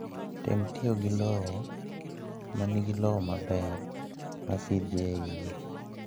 Tem tiyo gi lowo ma nigi lowo maber ma pi dhi e iye.